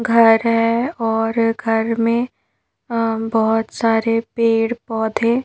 घर है और घर में अं बहोत सारे पेड़-पौधे --